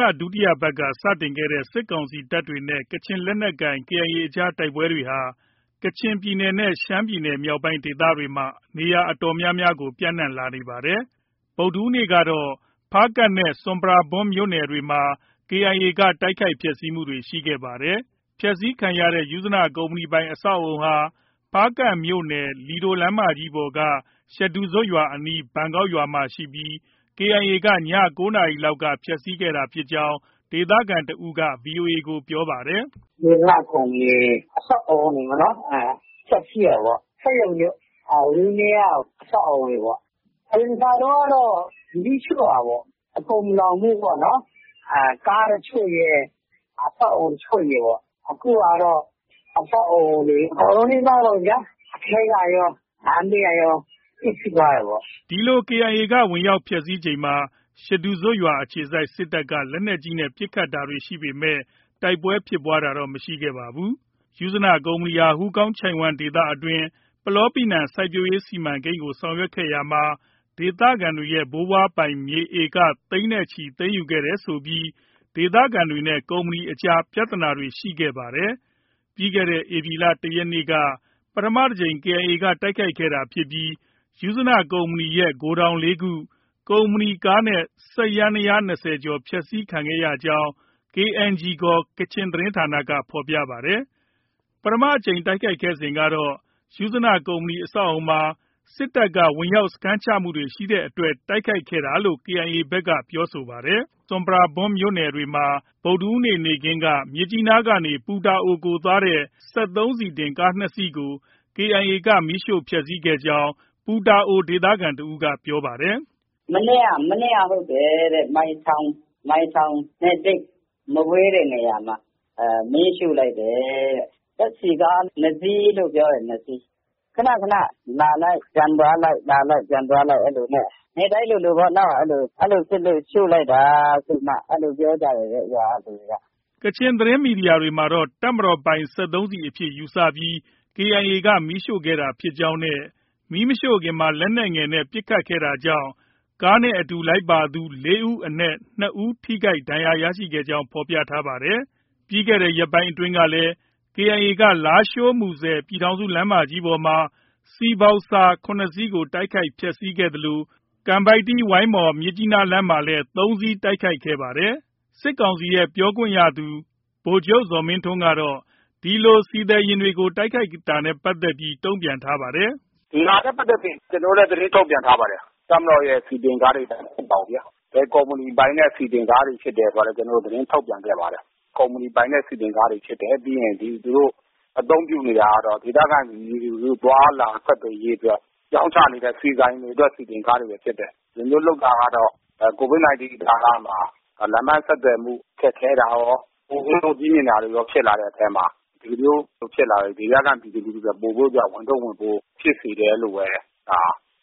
လ ဒုတိယပတ်က စတင်ခဲ့တဲ့ စစ်ကောင်စီတပ်တွေနဲ့ ကချင်လက်နက်ကိုင် KIA အကြား တိုက်ပွဲတွေဟာ ကချင်ပြည်နယ်နဲ့ ရှမ်းပြည်နယ်မြောက်ပိုင်းဒေသတွေမှာ နေရာအတော်များများကို ပျံ့နှံ့လာနေပါတယ်။ ဗုဒ္ဓဟူးနေ့ကတော့ ဖားကန့်နဲ့ ဆွမ်ပရာဘွမ်မြို့နယ်တွေမှာ KIA က တိုက်ခိုက်ဖျက်ဆီးမှုတွေ ရှိခဲ့ပါတယ်။ ဖျက်ဆီးခံရတဲ့ ယုဇနကုမ္ပဏီပိုင် ဖားကန့်မြို့နယ် လီဒိုလမ်းမကြီးပေါ်က ရှဒူဇွပ်ရွာအနီး ဘန်ကောက်ရွာမှာရှိပြီး KIA က ည ၉ နာရီလောက်က ဖျက်ဆီးခဲ့တာဖြစ်ကြောင်း ဒေသခံတစ်ဦးက ဗွီအိုအေကို ပြောပါတယ်။ “ယုဇနကုမ္ပဏီအဆောက်အဦးတွေ ဖျက်ဆီးတယ်ပေါ့။ စက်ရုံတွေ၊ ဝန်းထဲက အဆောက်အဦတွေပေါ့။ အရင် တစ်ခါတုန်းကတော့ မီးရှို့တာပေါ့။ အကုန်မလောင်ဘူးပေါ့နော်။ ကား တချို့ရယ် အဆောက်အဦး တချို့ရယ်ပေါ့။ အခုကတော့ အဆောက်အဦးတွေ အကုန်လုံးနီးပါးပေါ့ဗျာ။ အထဲကရော၊ လမ်းဘေးကရော ပျက်ဆီးသွားတယ်ပေါ့။” ဒီလို KIA က ဝင်ရောက် ဖျက်ဆီးချိန်မှာ ရှဒူဇွပ်အခြေစိုက် စစ်တပ်က လက်နက်ကြီးနဲ့ ပစ်ခတ်တာရှိပေမဲ့ တိုက်ပွဲဖြစ်ပွားတာတော့ မရှိခဲ့ပါဘူး။ ယုဇနကုမ္ပဏီဟာ ဟူးကောင်းချိုင့်ဝှမ်းဒေသအတွင်း ပလောပီနံစိုက်ပျိုးရေးစီမံကိန်းကို ဆောင်ရွက်ရာမှာ ဒေသခံတွေရဲ့ ဘိုးဘွားပိုင်မြေ ဧက သိန်းနဲ့ချီ သိမ်းယူခဲ့တယ်ဆိုပြီး ဒေသခံတွေနဲ့ ကုမ္ပဏီအကြားမှာ ပြဿနာတွေ ရှိခဲ့ပါတယ်။ ပြီးခဲ့တဲ့ ဧပြီလ ၁ ရက်နေ့က ပထမတစ်ကြိမ် KIA က တိုက်ခိုက်ခဲ့တာဖြစ်ပြီး ယုဇနကုမ္ပဏီရဲ့ ဂိုဒေါင် ၄ ခု၊ ကုမ္ပဏီကားနဲ့ စက်ယန္တယားယာဉ် ၂၀ ကျော် ဖျက်ဆီးခံခဲ့ရကြောင်း KNG ခေါ် ကချင်သတင်းဌာနက ဖော်ပြပါတယ်။ ပထမအကြိမ်တိုက်ခိုက်စဉ်ကတော့ ယုဇနကုမ္ပဏီ အဆောက်အဦးမှာ စစ်တပ်က ဝင်ရောက်စခန်းချမှု ရှိတဲ့အတွက် တိုက်ခိုက်ခဲ့တာလို့ KIA ဘက်က ပြောဆိုခဲ့ပါတယ်။ ဆွမ်ပရာဘွမ်မြို့နယ်အတွင်းမှာလည်း ဗုဒ္ဓဟူးနေ့ နေ့ခင်းက မြစ်ကြီးနားကနေ ပူတာအိုကို သွားတဲ့ စက်သုံးဆီတင်ကားနှစ်စီးကို KIA က မီးရှို့ဖျက်ဆီးခဲ့ကြောင်း ပူတာအိုဒေသခံတစ်ဦးက ပြောပါတယ်။ “မနေ့က ဟုတ်တယ်တဲ့။ မိုင်ထောင်နဲ့ သိပ်မဝေးတဲ့နေရာမှာ။ မီးရှို့လိုက်တယ်တဲ့။ ဓါတ်ဆီကား ၂ စီးလို့ ပြောတယ်။ ၂ စီး။ ခဏခဏ လာလိုက်၊ ပြန်သွားလိုက်၊ လာလိုက်၊ ပြန်သွားလိုက် အဲဒီလိုနဲ့ နေ့တိုင်းလိုလိုပေါ့နော်။ အဲဒီလို ဖြစ်လို့ ရှို့လိုက်တာဆိုပြီးမှ အဲဒီလိုပြောကြတယ်တဲ့ ရွာက လူတွေက။” ကချင်သတင်း မီဒီယာတွေမှာတော့ တပ်မတော်ပိုင် စက်သုံးဆီအဖြစ် ယူဆပြီး KIA က မီးရှို့ခဲ့တာဖြစ်ကြောင်းနဲ့ မီးမရှို့ခင်မှာ လက်နက်ငယ်နဲ့ ပစ်ခတ်ခဲ့တာကြောင့် ကားနဲ့အတူလိုက်ပါလာသူ ၄ ဦးအနက်၂ ဦး ထိခိုက်ဒဏ်ရာရခဲ့ကြောင်း ဖော်ပြပါတယ်။ ပြီးခဲ့တဲ့ ရက်ပိုင်းတွေကလည်း KIA က လားရှိုး - မူဆယ် ပြည်ထောင်စုလမ်းမကြီးပေါ်မှာ ဆီဘောက်ဆာ ၇ စီးကို တိုက်ခိုက်ဖျက်ဆီးခဲ့သလို ကန်ပိုက်တီး - ဝိုင်းမော်- မြစ်ကြီးနားလမ်းမှာလည်း ၃ စီး တိုက်ခိုက်ခဲ့ပါတယ်။ စစ်ကောင်စီရဲ့ ပြောရေးဆိုခွင့်ရှိသူ ဗိုလ်ချုပ် ဇော်မင်းထွန်းကတော့ ဒီလို ဆီသယ်ယာဉ်တွေကို တိုက်ခိုက်နေတာနဲ့ ပတ်သက်ပြီး တုံ့ပြန်ထားပါတယ်။ “ဒီဟာနဲ့ ပတ်သက်ပြီး ကျနော်တို့လည်း သတင်းထုတ်ပြန်ထားတာ ရှိတယ်။ တပ်မတော်ရဲ့ ဆီတင်ကားတွေ မဟုတ်ပါဘူးဗျာ။ ဘယ်ကုမ္ပဏီပိုင်တဲ့ ဆီတင်ကားတွေ ဖြစ်တယ်ဆိုတာလည်း ကျနော်တို့ သတင်းထုတ်ပြန်ခဲ့ပါတယ်။ ကုမ္ပဏီပိုင်တဲ့ ဆီတင်ကားတွေ ဖြစ်တယ်။ ပြီးရင်သူတို့ အသုံးပြုနေတာကတော့ ဒေသခံပြည်သူ လူထုသွားလာ ဆက်သွယ်ရေးအတွက် ရောင်းချနေတဲ့ ဆီဆိုင်တွေရဲ့ ဆီတင်ကားတွေပဲ ဖြစ်တယ်။ ဒီလိုမျိုးလုပ်တာ ကတော့ COVID 19 ကာလမှာ လမ်းပန်းဆက်သွယ်မှု ခက်ခဲတာရော၊ ကုန်ဈေးနှုန်းကြီးမြင့်တာတွေရော ဖြစ်လာတဲ့အထဲမှာ ဒီလိုမျိုးဖြစ်လာတဲ့အတွက် ဒေသခံပြည်သူလူထုတွေ အတွက် ပိုပြီးတော့မှာ ဝန်ထုပ်ဝန်ပိုး ဖြစ်စေတယ်လို့ပဲ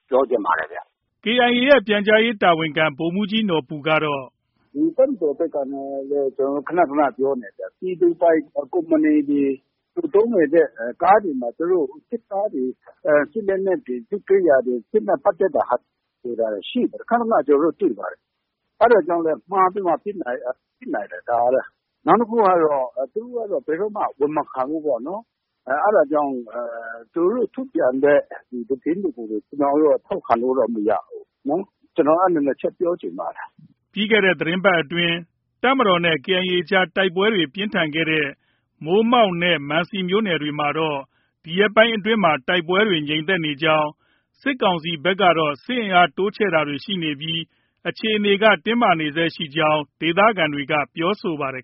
ပြောချင်ပါတယ်။” KIA ရဲ့ ပြန်ကြားရေးတာဝန်ခံ ဗိုလ်မှုးကြီး နော်ဘူကတော့- “ ဒီတပ်မတော်ဘက်ကနဲ့လည်း ကျနော်တို့ ခဏခဏ ပြောနေတယ်။ ပြည်သူပိုင် ကုမ္ပဏီတွေ၊ သူသုံးနေတဲ့ ကားတွေမှာ စစ်သားတွေ၊ စစ်လက်နက်တွေ၊ စစ်ကိရိယာတွေ၊ စစ်နဲ့ ပတ်သက်တဲ့ဟာတွေ သယ်တာ ရှိပါတယ်။ ခဏခဏ ကျနော်တို့ တွေ့ပါတယ်။ အဲဒါကြောင့်လည်း မှားပြီးမှ ပစ်နိုင်တယ် ဒါကလည်း။ နောက်တစ်ခုကတော့ သူတို့က ဘယ်တော့မှ ဝန်မခံဘူးပေါ့နော်။ အဲဒါကြောင့် သူတို့ ထုတ်ပြန်တဲ့ သတင်းတွေကို ကျနော်တို့က ထောက်ခံလို့တော့ မရဘူးနော်။ ကျနော် အဲဒီ ၂ ချက် ပြောချင်ပါတယ်။” ပြီးခဲ့တဲ့ သီတင်းပတ်အတွင်း တပ်မတော်နဲ့ KIA အကြားမှာ တိုက်ပွဲပြင်းထန်ခဲ့တဲ့ မိုးမောက်နဲ့ မန်စီမြို့နယ်တွေမှာတော့ ဒီရက်ပိုင်းအတွင်းမှာ တိုက်ပွဲတွေ ငြိမ်သက်နေကြောင်း၊ စစ်ကောင်စီဘက်ကတော့ စစ်အင်အား တိုးချဲ့တာတွေ ရှိနေပြီး အခြေအနေက တင်းမာနေဆဲ ရှိနေကြောင်း ဒေသခံတွေက ပြောပါတယ်